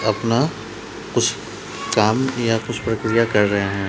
अपना कुछ काम या कुछ प्रक्रिया कर रहे हैं।